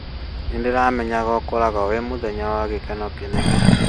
Nĩ ndĩramenyaga ũgakorwo wĩ mũthenya wa gĩkeno kĩnene